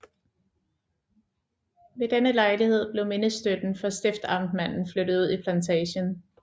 Ved denne lejlighed blev mindestøtten for stiftamtmanden flyttet ud i plantagen